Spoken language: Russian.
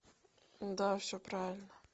да все правильно